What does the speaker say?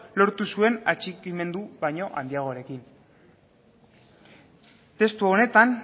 lortu zuen atxikimendu baino handiagorekin testu honetan